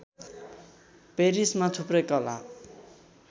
पेरिसमा थुप्रै कला